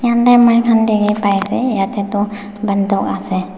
moikhan dekhe pai ase yathe tuh banduk ase.